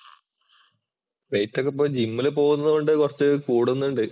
Wait ഒക്കെ ഇപ്പോൾ ജിമ്മില്‍ പോകുന്നത് കൊണ്ട് കൊറച്ചു കൂടുന്നുണ്ട്.